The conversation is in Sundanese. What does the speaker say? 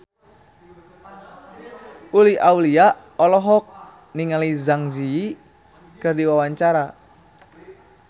Uli Auliani olohok ningali Zang Zi Yi keur diwawancara